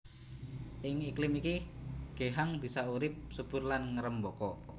Ing iklim iki geehang bisa urip subur lan ngrêmbaka